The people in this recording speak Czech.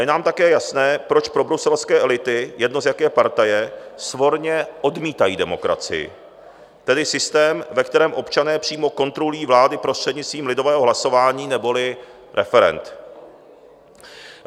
J nám také jasné, proč probruselské elity, jedno z jaké partaje, svorně odmítají demokracii, tedy systém, ve kterém občané přímo kontrolují vládu prostřednictvím lidového hlasování neboli referend.